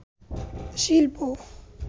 শিল্প